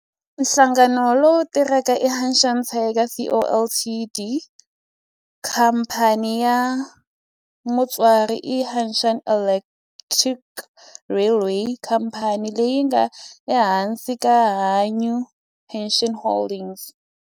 Nhlangano lowu tirhaka i Hanshin Tigers Co., Ltd. Khamphani ya mutswari i Hanshin Electric Railway khamphani leyi nga ehansi ka Hankyu Hanshin Holdings.